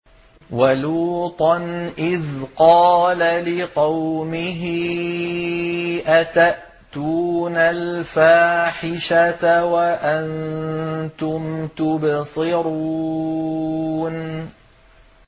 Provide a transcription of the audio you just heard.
وَلُوطًا إِذْ قَالَ لِقَوْمِهِ أَتَأْتُونَ الْفَاحِشَةَ وَأَنتُمْ تُبْصِرُونَ